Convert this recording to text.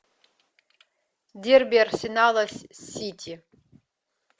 дерби арсенала с сити